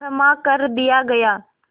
क्षमा कर दिया गया